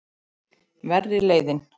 Verri leiðin.